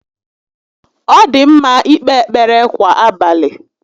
Ọ dị ḿmá íkpé ekpere kwà abalị